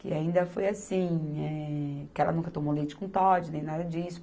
Que ainda foi assim, eh, que ela nunca tomou leite com Toddy, nem nada disso.